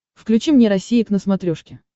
включи мне россия к на смотрешке